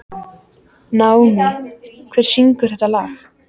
Naómí, hver syngur þetta lag?